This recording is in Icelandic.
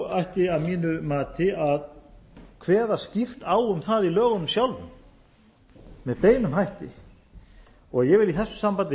ætti að mínu mati að kveða skýrt á um það í lögunum sjálfum með beinum hætti ég vil í þessu sambandi